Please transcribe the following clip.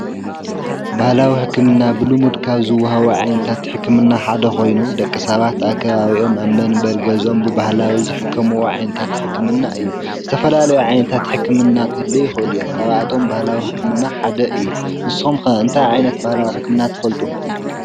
ባህላዊ ሕክምና ብሉሙድ ካብ ዝወሃቡ ዓይነታት ሕክምና ሓደ ኾይኑ ደቀ ሳባት ኣብ ከባቢኦም ኣብ መንበር ገዝኦም ብባህላዊ ዝሕከምዎ ዓይንታት ሕክምና እዩ። ዝተፈላለዩ ዓይነታት ሕክምና ኽህልው ይኹእሉ እዮም። ካብኣቶም ባህላዊ ሕክምና ሓደ እዩ። ንስም ከ እንታ ዓይነት ባህላዊ ሕክምና ትፈልጡ?